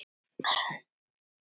En fleira þarf til.